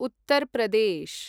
Uttar Pradesh